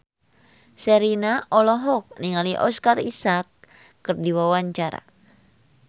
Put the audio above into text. Sherina olohok ningali Oscar Isaac keur diwawancara